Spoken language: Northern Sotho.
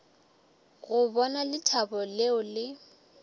go bona lethabo leo le